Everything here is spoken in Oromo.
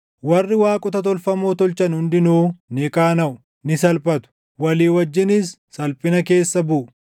Warri waaqota tolfamoo tolchan hundinuu ni qaanaʼu; ni salphatu; walii wajjinis salphina keessa buʼu.